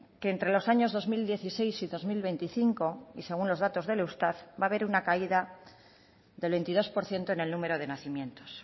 que entre los años dos mil dieciséis y dos mil veinticinco y según los datos del eustat va a haber una caída del veintidós por ciento en el número de nacimientos